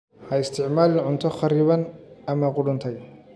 Ha isticmaalin cunto kharriban ama qudhuntay.